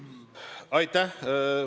Aitäh!